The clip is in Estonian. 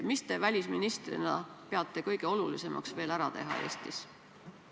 Mida te välisministrina peate kõige olulisemaks Eestis ära teha?